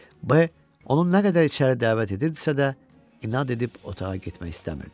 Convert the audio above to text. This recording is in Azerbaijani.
Bəy onu nə qədər içəri dəvət edirdisə də, inad edib otağa getmək istəmirdi.